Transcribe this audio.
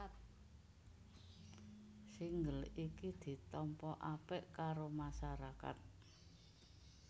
Single iki ditampa apik karo masyarakat